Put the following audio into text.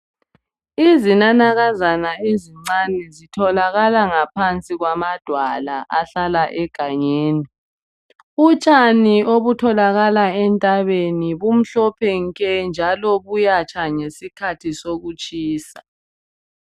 izinanakazana ezincane zitholakala ngaphansi kwamadwala ahlala egangeni utshani obutholakala entabeni bumhlophe nke njalo buyatsha ngesikhathi sokutshisa